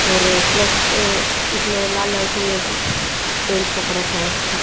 और प्लस एर इसमें लाल लाल सी पेंट सा कर रखा है।